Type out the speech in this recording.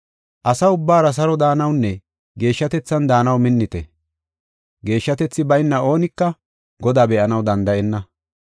Asa ubbaara saro daanawunne geeshshatethan daanaw minnite; geeshshatethi bayna oonika Godaa be7anaw danda7enna.